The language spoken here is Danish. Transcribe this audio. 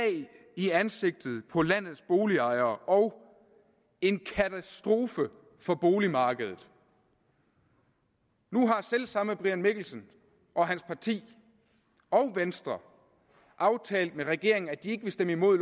i ansigtet på landets boligejere og en katastrofe for boligmarkedet nu har selv samme herre brian mikkelsen og hans parti og venstre aftalt med regeringen at de ikke vil stemme imod